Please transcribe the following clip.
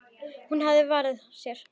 Hún hafði varann á sér.